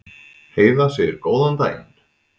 Heiða segir góðan daginn!